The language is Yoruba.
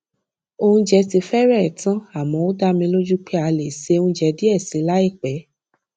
oúnjẹ ti férèé tán àmó ó dá mi lójú pé a lè ṣe oúnjẹ díè sí i láìpé